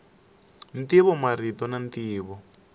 ntivo marito na ntivo